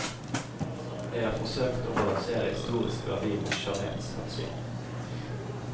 Jeg har forsøkt å balansere historisk verdi mot skjønnhetshensyn.